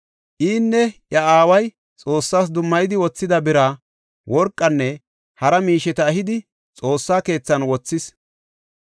Inne iya aaway Xoossas dummayidi wothida bira, worqanne hara miisheta ehidi, Xoossa keethan wothis.